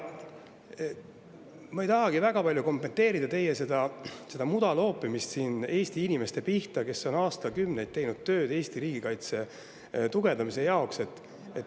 Ma ei tahagi väga palju kommenteerida teie mudaloopimist Eesti inimeste pihta, kes on aastakümneid teinud tööd Eesti riigikaitse tugevdamise heaks.